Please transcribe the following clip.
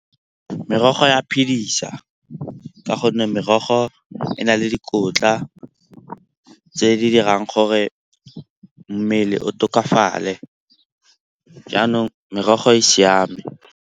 Merogo ya phedisa ka gonne merogo e na le dikotla tse di dirang gore mmele o tokafale jaanong merogo e siame.